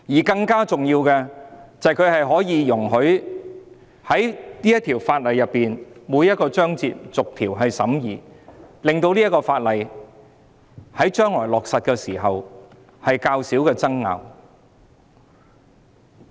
更重要的是，它容許我們對法案的每個章節逐一審議，減少有關法例在將來落實時出現爭拗。